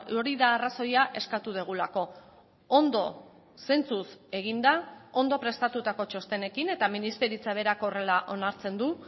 hori da arrazoia eskatu dugulako ondo sentsuz eginda ondo prestatutako txostenekin eta ministeritza berak horrela onartzen du